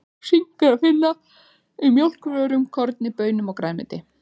Sink er að finna í mjólkurvörum, korni, baunum og grænmeti.